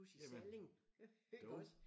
Jamen dog!